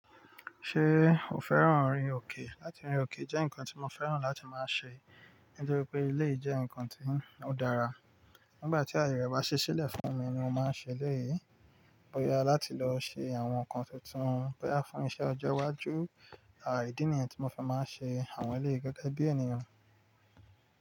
Ṣé o fẹ́ràn orin òkè? Látí rin ò ki jẹ́ nǹkan tí mo fẹ́ràn láti máa ṣe nítorí pé elé jẹ́ nǹkan tí ó dára. Nígbà tí àyè rẹ bá ṣe sílẹ̀ fún mi ni mo máa ṣe elé yìí. Bóyá láti lọ ṣe àwọn nǹkan tuntun, bóyá fún iṣẹ́ ọjọ́ iwájú, à ídi nìyẹn tí mo fi máa ṣe àwọn elé yi gẹ́gẹ́ bí ènìyàn.